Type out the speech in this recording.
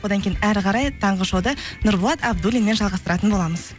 одан кейін әрі қарай таңғы шоуды нұрболат абдуллинмен жалғастыратын боламыз